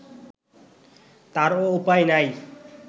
তারও উপায় নাই